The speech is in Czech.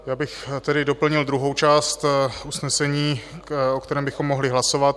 Já bych tedy doplnil druhou část usnesení, o kterém bychom mohli hlasovat: